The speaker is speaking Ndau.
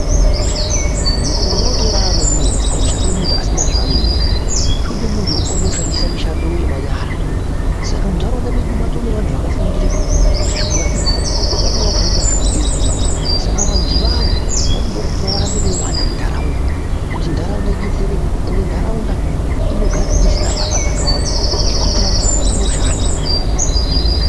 Mukore watorarama unouyu, hauchade munhu asina zvaanoita, zvode munhu anokwanise kushandisa mishando yemanyara saka muntaraunda mwedu maatone nevanhu vakafundire zvekurape vanhu, vamwe vakona vaonoita zvekutsetsa saka vantuivavo vanoda kuti varambe veyiwanda muntaraunda, kuti ntaraunda idetsereke, ende ntaraunda inogara isina mbavha dzakawanda ngekuti vantu vanenge voshanda.